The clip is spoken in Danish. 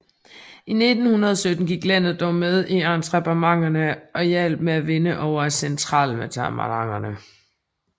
I 1917 gik landet dog med i ententemagterne og hjalp med at vinde over centralmagterne